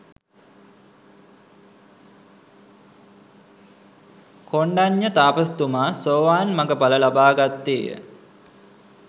කොණ්ඩඤ්ඤ තාපසතුමා සෝවාන් මඟඵල ලබා ගත්තේය.